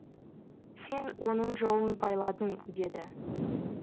сен оның жолын байладың деді